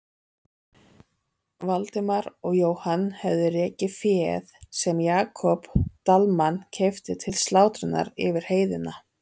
Valdimar og Jóhann höfðu rekið féð sem Jakob Dalmann keypti til slátrunar yfir heiðina.